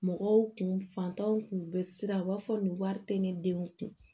Mɔgɔw kun fantanw tun bɛ siran u b'a fɔ nin wari tɛ ne denw kun